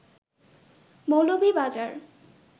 Moulvibazar